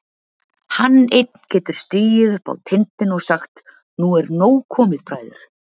Hann einn getur stigið upp á tindinn og sagt: Nú er nóg komið, bræður!